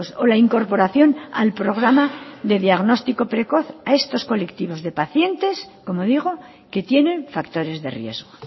o la incorporación al programa de diagnóstico precoz a estos colectivos de pacientes como digo que tienen factores de riesgo